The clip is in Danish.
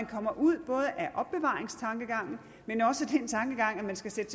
kommer ud af opbevaringstankegangen men også af den tankegang at man skal sætte